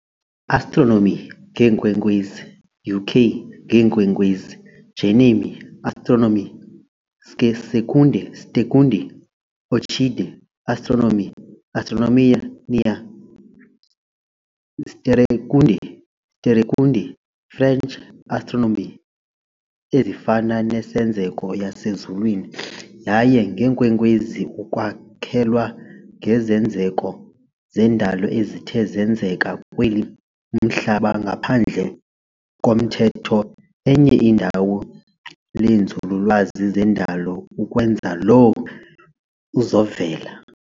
Astronomy ngeenkwenkwezi, UK, ngeenkwenkwezi, Germany, Astronomie, Sternkunde, orchid, astronomie, astronomia, sterrenkunde, sterrekunde, French, astronomie, ezifana nesenzeko yasezulwini yaye ngeenkwenkwezi, ukwakhelwa ngezenzeko zendalo ezithe zenzeka kweli Umhlaba ngaphandle komthetho enye indawo lenzululwazi zendalo ukwenza loo izovela.